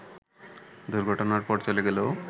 দুর্ঘটনার পর চলে গেলেও